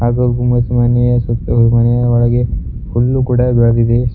ಹಾಗು ಗುಮಸು ಮನೆಯ ಸುತ್ತ ಮನೆಯ ಒಳಗೆ ಹುಲ್ಲು ಕೂಡ ಬೇಳದಿದೆ ಸುತ್ತ್--